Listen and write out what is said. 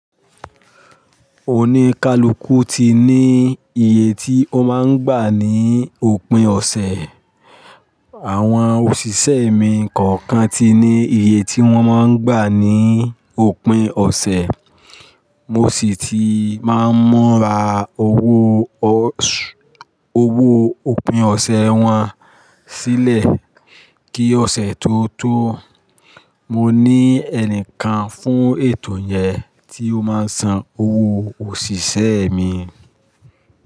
Oníkálukú ti ní iye tí ó máa ń gbà ní òpin ọ̀sẹ̀. Àwọn òṣìṣẹ́ mi kọ̀ọ̀kan ti ní iye tí wọ́n máa ń gbà ní òpin ọ̀sẹ̀, mo sì ti máa ń ra owó òpin ọ̀sẹ̀ wọn sílẹ̀ kí ọ̀sẹ̀ tó tó. Mo ní ẹnìkan fún ètò yẹn tí ó máa ń san owó òṣìṣẹ́ mi.